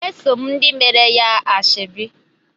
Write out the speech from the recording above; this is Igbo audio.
Eso m ndị meere ya ashebi.